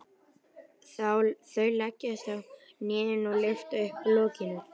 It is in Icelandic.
Þau leggjast á hnén og lyfta upp lokinu.